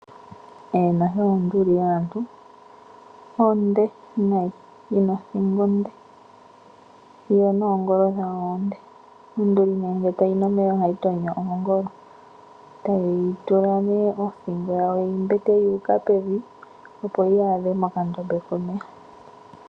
Eeno hewa onduli yaantu! Onde nayi, yi na othingo onde, yo noongolo dhawo oonde. Onduli ne ngele tayi nu omeya ohayi tonyo oongolo, tayi tula ne othingo yawo yi mbete yuuka pevi opo yaadhe mokandombe komeya.